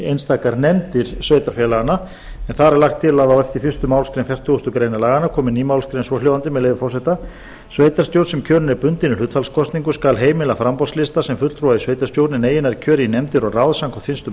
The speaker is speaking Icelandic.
einstakar nefndir sveitarfélaganna en þar er lagt til að á eftir fyrstu málsgrein fertugustu grein laganna komi ný málsgrein svohljóðandi með leyfi forseta sveitarstjórn sem kjörin er bundinni hlutfallskosningu skal heimila framboðslista sem fulltrúa í sveitarstjórn en eigi nær kjöri í nefndir og ráð samkvæmt fyrstu